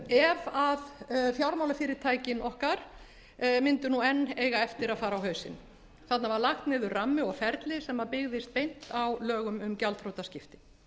ef fjármálafyrirtækin okkar mundu nú enn eiga eftir að fara á hausinn þarna var lagt niður rammi og ferli sem byggðist beint á lögum um gjaldþrotaskipti